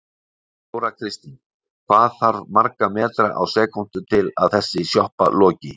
Þóra Kristín: Hvað þarf marga metra á sekúndu til að þessi sjoppa loki?